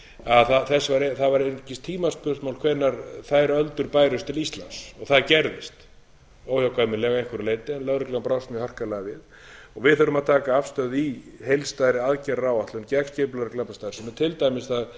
að það væri einungis tímaspursmál hvenær þær öldur bærust til íslands það gerðist óhjákvæmileg að einhverju leyti að lögreglan brást mjög harkalega við við höfum að taka afstöðu í heildstæðri aðgerðaáætlun gegn skipulegri glæpastarfsemi til dæmis það